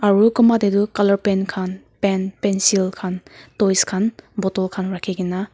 aru kunba te tu colour paint khan paint pencil khan rakhi kina toys khan bottle khan rakhi kina--